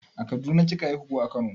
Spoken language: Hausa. A kaduna kika haihu ko a kano?